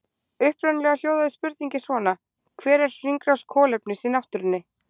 Upprunalega hljóðaði spurningin svona: Hver er hringrás kolefnis í náttúrunni?